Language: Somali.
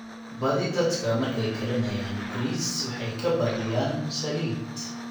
badhi dadka markay karinayaan baris waxaay kabadhoyaan saliid